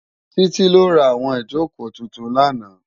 Titi lò rá áwòn ijókó tútún làná